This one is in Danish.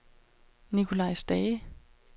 Nicolai Stage